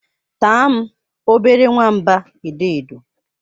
Taa m, obere nwamba edo edo.